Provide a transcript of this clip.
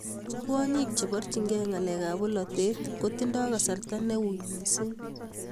kwonyik cheborchikei ng'alekab bolote kotinyei kasarta neui mising